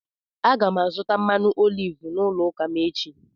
Aga m azụta mmanụ oliv n’ụlọ ụka m echi.